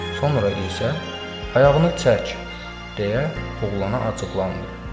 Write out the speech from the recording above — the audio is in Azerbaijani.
Sonra isə ayağını çək deyə oğlana acıqlandı.